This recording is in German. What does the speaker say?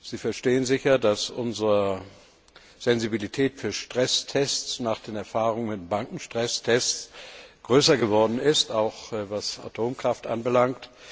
Sie verstehen sicher, dass unsere Sensibilität für Stresstests nach den Erfahrungen mit den Bankenstresstests größer geworden ist, auch was Atomkraft anbelangt.